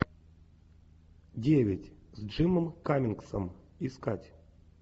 девять с джимом каммингсом искать